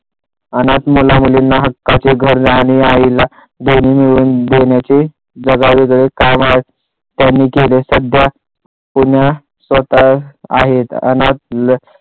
अनाथ मुला मुलींना हक्काचे घर आणि आईला जगावेगळे काम त्यांनी केले सध्या पुण्यात स्वतः आहे अनाथ